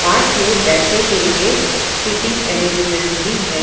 Park में बैठने के लिए सीटिंग अरेंजमेंट भी है।